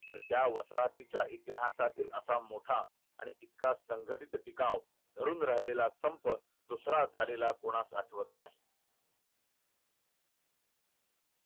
तर त्या वसाहतीच्या इतिहासात असा मोठा आणि इतका संघटित टिकाव धरून राहिल्या संप दुसऱ्या झालेला कोणाचा आठवत नाही.